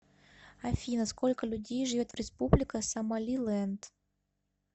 афина сколько людей живет в республика сомалиленд